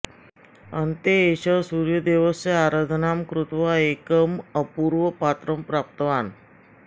अन्ते एषः सूर्यदेवस्य आराधनां कृत्वा एकम् अपूर्वं पात्रं प्राप्तवान्